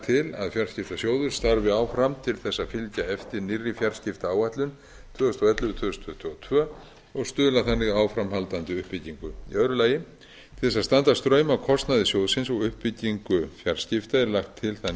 til að fjarskiptasjóður starfi áfram til þess að fylgja eftir nýrri fjarskiptaáætlun tvö þúsund og ellefu til tvö þúsund tuttugu og tvö og stuðla þannig að áframhaldandi uppbyggingu annars til þess að standa straum af kostnaði sjóðsins og uppbyggingu fjarskipta er lagt til það